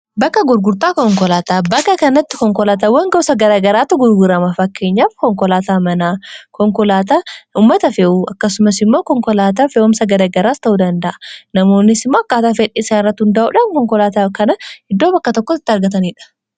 bakka gurgurtaa konkolaataa bakka kannatti konkolaatawwan gobsa garagaraata gurgurama fakkeenyaaf konkolaataa manaa konkolaataa ummata fe'uu akkasumas immoo konkolaataa fe'umsa garagaraas ta'uu danda'a namoonis makkaataa fedhisaan irrat hundaa'uudhaan konkolaataa kana eddoo bakka tokko itti argataniidha